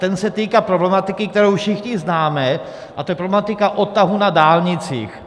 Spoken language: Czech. Ten se týká problematiky, kterou všichni známe, a to je problematika odtahů na dálnicích.